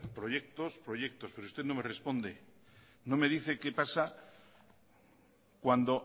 proyectos y proyectos pero usted no me responde no me dice qué pasa cuando